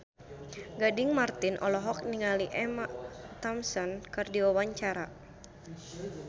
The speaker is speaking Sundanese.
Gading Marten olohok ningali Emma Thompson keur diwawancara